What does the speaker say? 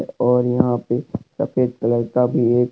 और यहां पे सफेद कलर का भी एक--